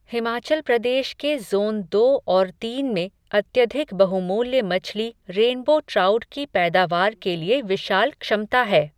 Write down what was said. हिमाचल प्रदेश के ज़ोन दो और तीन में अत्यधिक बहुमूल्य मछली रेनबो ट्राउट की पैदावार के लिए विशाल क्षमता है.